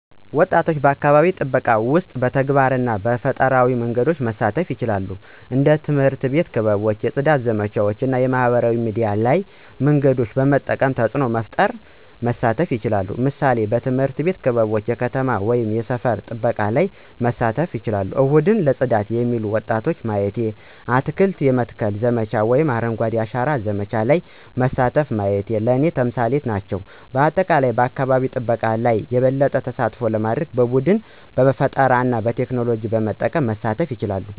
ወጣቶች በአካባቢ ጥበቃ ውስጥ በተግባር እና በፈጠራዊ መንገዶች መሳተፉ ይችላሉ። እንደ ትምህርት አቤት ክበቦች የፅዳት ዘመቻዎች እና የማህበራዊ ሚዲያ ያሉ መንገዶችን በመጠቀም ተፅዕኖ መፈጠር ወይም መሳተፍ ይችላሉ። ምሳሌዎች፦ ትምህርት ቤት ክበቦች የከተማ ወይም የሰፈር ጥበቃ ላይ መሳተፍቸው፣ እሁድ ለጽዳት የሚሉ ወጣቶች ማየቲ፣ አትክልት የመትከል ዘመቻ ወይም አረንጓዴ አሻራ ዘመቻ ለይ መሳተፉ ማየት ለኔ ተምሳሌት ናቸው። በአጠቃላይ በአካባቢ ጠበቃ ለይ የበለጠ ተሳትፎ ለማድርግ በቡድን፣ በፈጠራና በቴክኖሎጂ በመጠቀም መሳተፍ ይቻላሉ።